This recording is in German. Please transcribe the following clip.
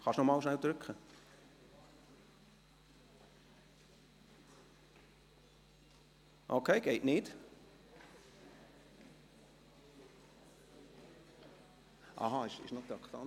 Sie haben diese drei Ordnungsanträge angenommen, mit 144-Ja-Stimmen, 0 Gegenstimmen und ohne Enthaltungen.